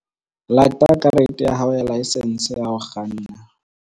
Lata karete ya hao ya laesense ya ho kganna.